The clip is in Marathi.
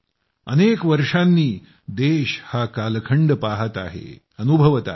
अनेक वर्षांनी देश हा कालखंड पहात आहे अनुभवत आहे